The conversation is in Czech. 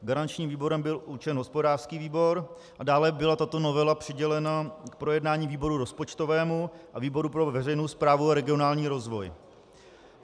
Garančním výborem byl určen hospodářský výbor a dále byla tato novela přidělena k projednání výboru rozpočtovému a výboru pro veřejnou správu a regionální rozvoj.